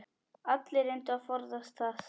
Allir reyndu að forðast það.